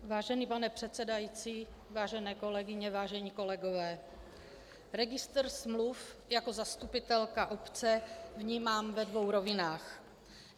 Vážený pane předsedající, vážené kolegyně, vážení kolegové, registr smluv jako zastupitelka obce vnímám ve dvou rovinách.